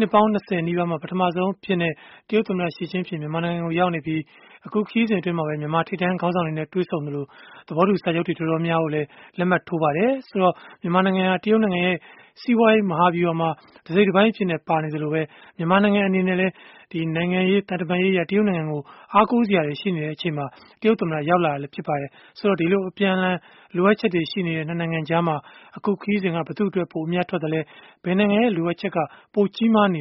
ှစ်ပေါင်း ၂၀ နီးပါးမှာ ပထမဆုံး တရုတ်ခေါင်းဆောင်အဖြစ် သမ္မတ Xi Jinping မြန်မာနိုင်ငံမှာ ရောက်နေပြီး ခရီးစဉ်အတွင်း မြန်မာထိပ်တန်း ခေါင်းဆောင်တွေနဲ့ တွေ့ဆုံခဲ့သလို၊ သဘောတူစာချုပ်တွေ တော်တော်များများကိုလည်း လက်မှတ်ထိုးကြပါတယ်။ မြန်မာနိုင်ငံဟာ တရုတ်နိုင်ငံရဲ့ စီးပွားရေး မဟာဗျုဟာမှာ တစိတ်တပိုင်းအဖြစ် ပါဝင်နေသလို၊ မြန်မာနိုင်ငံ အနေနဲ့လည်း နိုင်ငံရေး၊ သံတမန်ရေးအရ တရုတ်နိုင်ငံကို အားကိုးစရာတွေ ရှိနေချိန်မှာ တရုတ်သမ္မတ ရောက်လာတာလည်း ဖြစ်ပါတယ်။ ဒီလို အပြန်အလှန် လိုအပ်ချက်တွေ ရှိနေတဲ့ ၂ နိုင်ငံကြားမှာ အခုခရီးစဉ်က ဘယ်သူ့အတွက် ပိုအမြတ်ထွက်ခဲ့သလဲ ဘယ်နိုင်ငံရဲ့ လိုအပ်ချက်က ပိုကြီးမားနေ